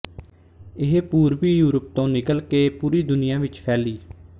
ਇਹ ਪੂਰਬੀਯੂਰਪ ਤੋਂ ਨਿਕਲ ਕੇ ਪੂਰੀ ਦੁਨੀਆ ਵਿੱਚ ਫੈਲੀ